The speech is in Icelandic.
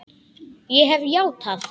Ég hef játað.